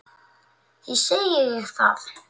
Því segi ég það.